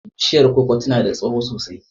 Bishiyar koko tana da tsawo sosai.